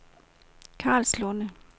Karlslunde